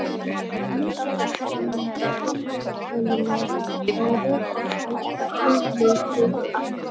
Lykkjan er talin tiltölulega örugg og hættulítil aðferð.